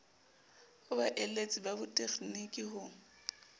ho baeletsi ba botegniki ho